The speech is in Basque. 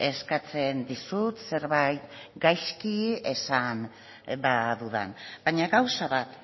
eskatzen dizut zerbait gaizki esan badudan baina gauza bat